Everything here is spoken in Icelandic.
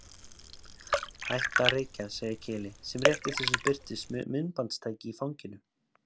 Hætta að reykja, segir Keli sem rétt í þessu birtist með myndbandstæki í fanginu.